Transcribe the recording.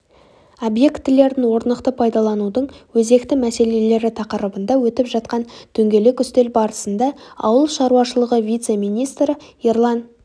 объектілерін орнықты пайдаланудың өзекті мәселелері тақырыбында өтіп жатқан дөңгелек үстел барысында ауыл шаруашылығы вице-министрі ерлан